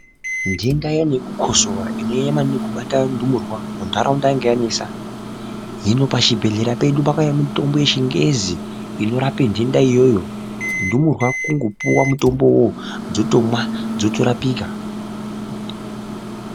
Ntenda iyani yekukosora inonyanya kubata maningi ndumurwa muntaraunda yainga yanesa hino pachibhedhlera pedu pakauya mitombo yechingezi inorape ntenda iyoyo ndumurwa kungopuwa mutombo uwowo dzotomwa dzotorapika.